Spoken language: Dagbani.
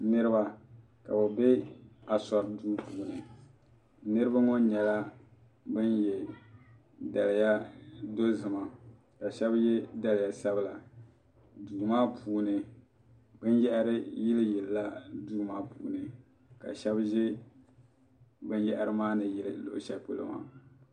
Niriba ka bɛ be asori duu puuni niriba ŋɔ nyɛla ban ye daliya dozima ka sheba ye daliya sabila duu maa puuni binyahari yili yilila duu maa puuni ka sheba ʒɛ binyahari maa ni ʒi luɣu sheli polo maa.